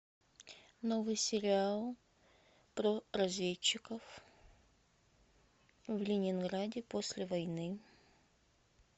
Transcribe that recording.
новый сериал про разведчиков в ленинграде после войны